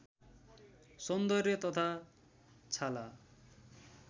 सौन्दर्य तथा छाला